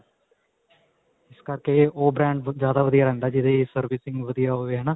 ਇਸ ਕਰਕੇ ਓਹ brand ਜਿਆਦਾ ਵਧੀਆ ਰਹਿੰਦਾ ਜਿਦੇ servicing ਵਧੀਆ ਹੋਵੇ ਹੈ ਨਾਂ.